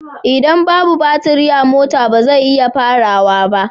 Idan babu baturi a mota ba zai iya farawa ba